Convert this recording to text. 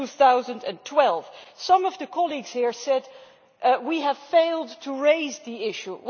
2012. Some of the colleagues here said that we have failed to raise the issue.